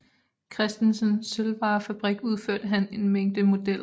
Christesens Sølvvarefabrik udførte han en mængde modeller